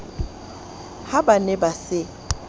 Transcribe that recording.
ha ba ne ba se